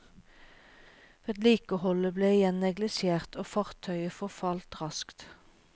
Vedlikeholdet ble igjen neglisjert, og fartøyet forfalt raskt.